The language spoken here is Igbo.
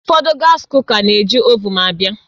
Ụfọdụ gas kuka na-eji ovuun abịa